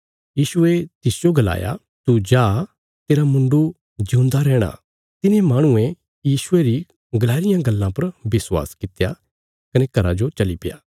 यीशुये तिसजो गलाया तू जा तेरा मुण्डु जिऊंदा रैहणा तिने माहणुये यीशुये री गलाई रियां गल्लां पर विश्वास कित्या कने घरा जो चलीप्या